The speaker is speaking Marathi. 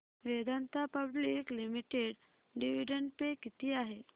Vedanta public limited dividend pay किती आहे